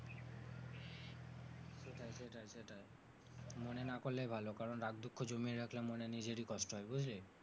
সেটাই সেটাই সেটাই মনে না করলেই ভালো, কারণ রাগ দুঃখ জমিয়ে রাখলে মনে নিজেরই কষ্ট হয় বুঝলি?